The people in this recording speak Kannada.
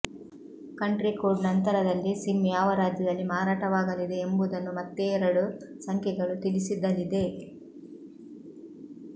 ಕಂಟ್ರಿ ಕೋಡ್ ನಂತರಲ್ಲಿ ಸಿಮ್ ಯಾವ ರಾಜ್ಯದಲ್ಲಿ ಮಾರಾಟವಾಗಲಿದೆ ಎಂಬುದನ್ನು ಮತ್ತೇರಡು ಸಂಖ್ಯೆಗಳು ತಿಳಿಸಿದಲಿದೆ